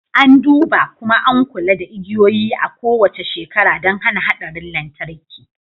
An duba, kuma an kula da igiyoyi a kowace shekara don hana haɗarin lantarki